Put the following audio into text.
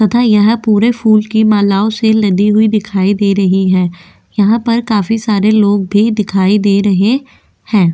तथा यह पूरे फूल की मालाओं से लदी हुई दिखाई दे रही है यहाँ पर काफी सारे लोग भी दिखाई दे रहे हैं।